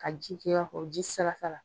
Ka ji kɛ i b'a fɔ ji sala sala.